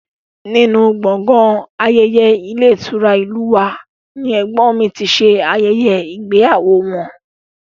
Nínú gbọ̀ngàn ayẹyẹ ilé ìtura ìlú u wa ni ẹ̀gbọ́n mi ti ṣe ayẹyẹ ìgbéyàwó wọn